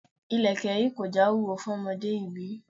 Ilẹ̀kè yìí kò já wúwo fún ọmọdé yìí bí?